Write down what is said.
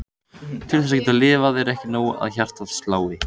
Til að geta lifað er ekki nóg að hjartað slái.